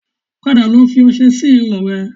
Padà lọ fi ọṣẹ sí irun rẹ